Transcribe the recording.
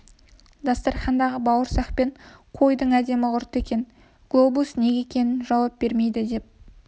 дастарқандағы бауырсақ пен қойдың әдемі құрты екен глобус неге екенін жауап бермейді деп